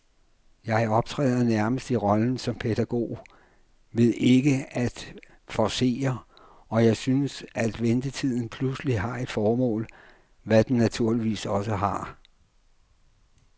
Jeg optræder nærmest i rollen som pædagog ved ikke at forcere, og synes, at ventetiden pludselig har et formål, hvad den naturligvis også har.